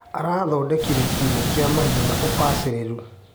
Arathondekire kiugũ kia mahiũ na ũbacĩrĩru.